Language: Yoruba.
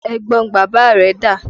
Ẹ̀gbọn bàbá rẹ dà?